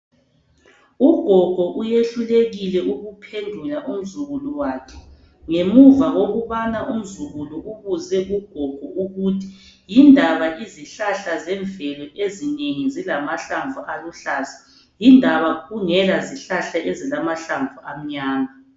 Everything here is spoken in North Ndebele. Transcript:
Ugogo uyehlulekile ukuphendula umzukulu wakhe ngemuva kokubana umzukulu wakhe embuze ukuthi yindaba izihlahla zemvelo ezinengi zilamahlamvu aluhlaza, yindaba kungela zihlahla ezilamahlamvu amnyama.